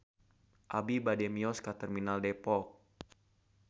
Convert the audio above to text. Abi bade mios ka Terminal Depok